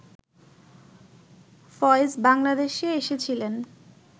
ফয়েজ বাংলাদেশে এসেছিলেন